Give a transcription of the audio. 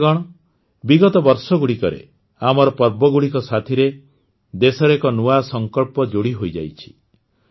ସାଥୀଗଣ ବିଗତ ବର୍ଷଗୁଡ଼ିକରେ ଆମର ପର୍ବଗୁଡ଼ିକ ସାଥିରେ ଦେଶର ଏକ ନୂଆ ସଂକଳ୍ପ ଯୋଡ଼ି ହୋଇଯାଇଛି